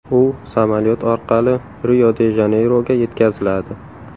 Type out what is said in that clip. U samolyot orqali Rio-de-Janeyroga yetkaziladi.